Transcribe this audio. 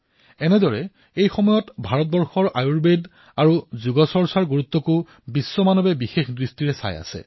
সেইদৰে সমগ্ৰ বিশ্বতে ভাৰতৰ আয়ুৰ্বেদ আৰু যোগৰ মহত্বকো বিশিষ্টভাৱেৰে লক্ষ্য কৰা হৈছে